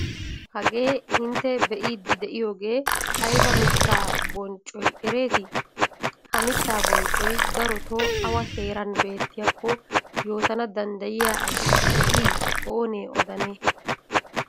Hagee intte be'iiddi de'iyogee ayba mittaa bonccoy ereetii? Ha mittaa bonccoy darotoo awa heeran beettiyakko yootana danddayiya asi de'ii oonee odanee?